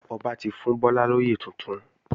Ọba ti fún Bọ́lá lóyè tuntun